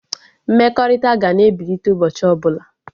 Mmekọrịta ga na-ebilite ụbọchị ọbụla